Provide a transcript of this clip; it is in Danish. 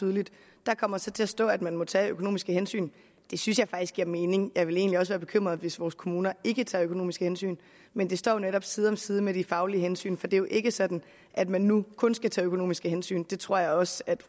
tydeligt der kommer så til at stå at man må tage økonomiske hensyn det synes jeg faktisk giver mening jeg ville egentlig også være bekymret hvis vores kommuner ikke tog økonomiske hensyn men det står jo netop side om side med de faglige hensyn for det er jo ikke sådan at man nu kun skal tage økonomiske hensyn og det tror jeg også at